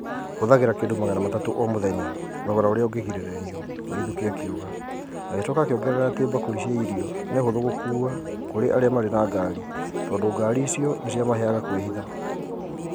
"Hũthagĩra kĩndũ magana matatu o mũthenya, thogora ũrĩa ũngĩgirĩrĩrio," Waithuki akiuga, agicoka akiongerera ati bakuri cia irio nĩ hũthũ gũkua kũr arĩa marĩ na ngaari tondũ ngaari icio nĩ ciamaheaga kũĩhitha